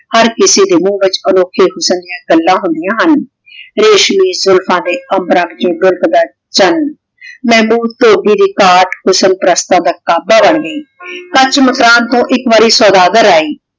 ਹਰ ਕਿਸੇ ਦੇ ਮੁਹ ਵਿਚ ਅਨੋਖੇ ਹੁਸਨ ਡਿਯਨ ਗੱਲਾਂ ਹੁੰਦਿਯਾਂ ਹਨ ਰੇਸ਼ਮੀ ਜੁਲਫਾਂ ਦੇ ਅਮ੍ਬ੍ਰਾਂ ਵਿਚੋ ਉਮ੍ੜਤਾ ਚਾਨ ਮੇਹਬੂਬ ਧੋਭੀ ਦੀ ਘਾਟ ਹੁਸਨ ਪਾਰਾਸ੍ਤਾਨ ਦਾ ਕਾਬਾ ਬਣ ਗਈ ਕਚ ਮਕਰਾਨ ਤੋਂ ਏਇਕ ਵਾਰੀ ਸੋਦਾਗਰ ਆਯ